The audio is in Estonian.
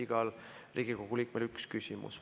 Igal Riigikogu liikmel on üks küsimus.